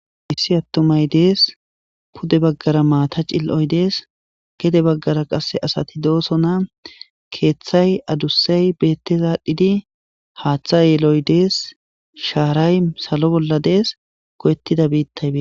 missi attumay dees pude baggara maata cil77oy dees gede baggara qasse asati doosona keeththay adussay bettezaadhdhidi haaththa yeeloy dees shaaray salo bolla dees go7ettida biittaybee